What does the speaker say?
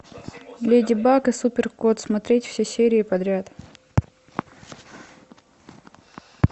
леди баг и супер кот смотреть все серии подряд